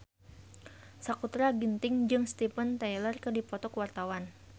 Sakutra Ginting jeung Steven Tyler keur dipoto ku wartawan